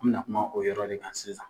An be na kuma o yɔrɔ de kan sisan.